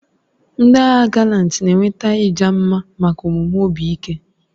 Ndị agha Galanti na-enweta ịja mma maka omume obi ike.